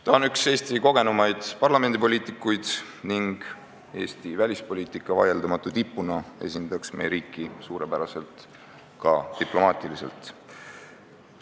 Ta on üks Eesti kogenumaid parlamendipoliitikuid ning Eesti välispoliitika vaieldamatu tipuna esindaks meie riiki suurepäraselt ka diplomaatilises suhtluses.